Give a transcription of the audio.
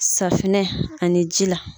Safinɛ ani ji la.